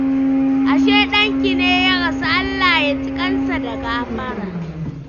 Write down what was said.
Ashe ɗanki ne ya rasu. Allah ya ji ƙansa da gafara.